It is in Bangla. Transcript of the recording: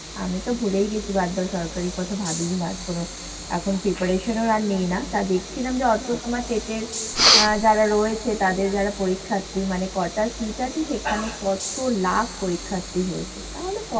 আমি তো ভুলে্ই গেছি, বাদ দাও সরকারির কথা ভাবিই না কোন। এখন preparation আর নিই না, তা দেখছিলাম অল্প তোমার trait এর আহ যারা রয়েছে তাদের যারা পরীক্ষার্থী মানে কটা seat আছে সেটা আমি কত লাখ পরীক্ষার্থী হয়েছে তাহলে?